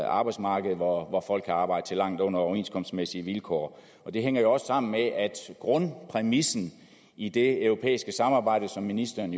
arbejdsmarked hvor folk kan arbejde til langt under overenskomstmæssige vilkår det hænger jo også sammen med at grundpræmissen i det europæiske samarbejde som ministeren